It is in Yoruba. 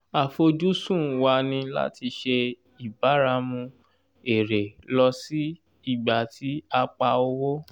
àfojúsùn wa ní láti ṣe ìbáramu èrè lọ sí ìgbà tí a pa owó